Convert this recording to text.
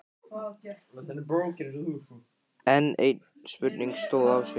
Enn ein spurningin stóð á sér.